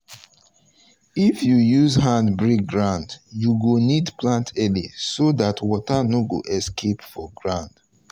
if you use hand break ground you go need plant early so that water no go escape for ground.